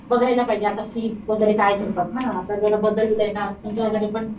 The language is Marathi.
बघाय्लापाहिजे आता फी वैगेरे काय घेतात ना आता जरा बदललाय ना फीस वैगेरे पण,